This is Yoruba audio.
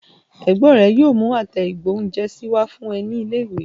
Àbúrò rẹ yóò mú àtẹ ìgbóhúnjẹsí wá fún ẹ ní ilé ìwé